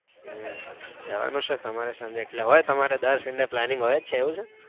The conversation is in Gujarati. હમ જાવા નું છે તમારે સાંજે એટલે તમારે દર sunday planning હોય જ છે એવું છે?